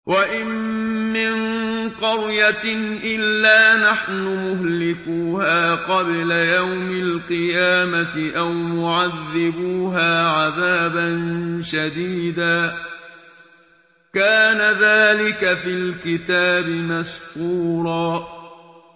وَإِن مِّن قَرْيَةٍ إِلَّا نَحْنُ مُهْلِكُوهَا قَبْلَ يَوْمِ الْقِيَامَةِ أَوْ مُعَذِّبُوهَا عَذَابًا شَدِيدًا ۚ كَانَ ذَٰلِكَ فِي الْكِتَابِ مَسْطُورًا